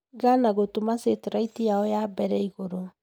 Ghana gũtũma sateraiti yao ya mbere igũrũ.